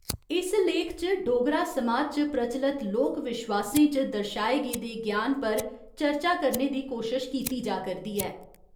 इस लेख च डोगरा समाज च प्रचलत लोक विश्वासें च दर्शाए गेदे ज्ञान पर चर्चा करने दी कोशश कीती जा करदी ऐ।